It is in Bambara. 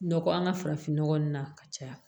Nɔkɔ an ka farafinnɔgɔ nun na ka caya